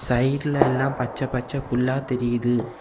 சைடுல எல்லா பச்ச பச்ச புல்லா தெரியுது.